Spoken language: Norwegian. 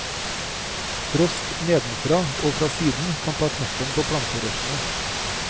Frost nedenfra og fra siden kan ta knekken på planterøttene.